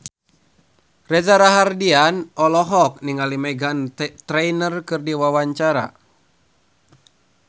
Reza Rahardian olohok ningali Meghan Trainor keur diwawancara